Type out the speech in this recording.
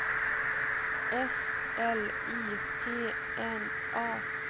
S L I T N A